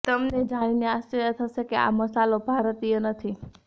તમને જાણીને આશ્ચર્ય થશે કે આ મસાલો ભારતીય નથી